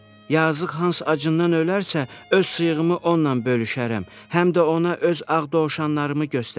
Yazıq hans acından ölərsə, öz sıyığımı onunla bölüşərəm, həm də ona öz ağ dovşanlarımı göstərərəm.